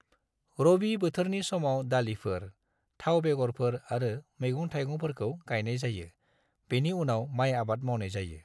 रबी बोथोरनि समाव दालिफोर, थाव बेगरफोर आरो मैगं-थाइगंफोरखौ गायनाय जायो, बेनि उनाव माइ आबाद मावनाय जायो।